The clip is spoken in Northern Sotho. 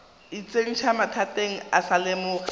itsentšha mathateng o sa lemoge